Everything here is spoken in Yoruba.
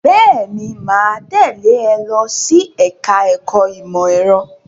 Bẹ́ẹ̀ ni, mà á tẹ́lẹ̀ ẹ lọ sí ẹ̀ka-ẹ̀kọ́ ìmọ̀-ẹ̀rọ.